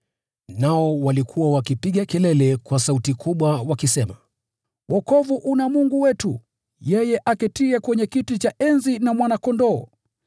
Nao walikuwa wakipiga kelele kwa sauti kubwa wakisema: “Wokovu una Mungu wetu, yeye aketiye kwenye kiti cha enzi, na Mwana-Kondoo!”